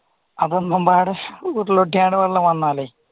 അപ്പൊ എല്ലാപാടെ ഉരുള് പൊട്ടി വെള്ളം വന്നാലേ